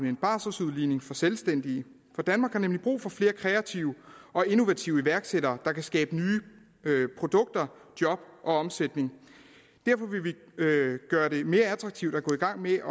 en barseludligning for selvstændige for danmark har nemlig brug for flere kreative og innovative iværksættere der kan skabe nye produkter job og omsætning derfor vil vi gøre det mere attraktivt at gå i gang med